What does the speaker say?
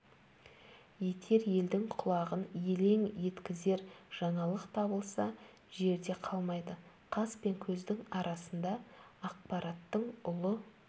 етер елдің құлағын елең еткізер жаңалық табылса жерде қалмайды қас пен көздің арасында ақпараттың ұлы